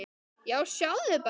Já, sjáðu bara!